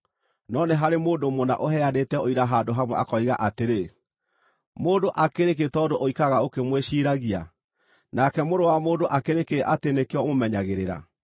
No nĩ harĩ mũndũ mũna ũheanĩte ũira handũ hamwe akoiga atĩrĩ: “Mũndũ akĩrĩ kĩ tondũ ũikaraga ũkĩmwĩciiragia, nake mũrũ wa mũndũ akĩrĩ kĩ atĩ nĩkĩo ũmũmenyagĩrĩra?